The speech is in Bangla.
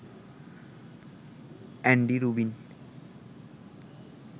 Andy Rubin